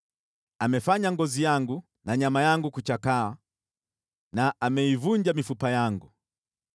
Amefanya ngozi yangu na nyama yangu kuchakaa na ameivunja mifupa yangu.